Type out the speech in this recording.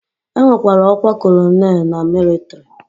E nwekwara ọkwa colonel na mịlịtrị.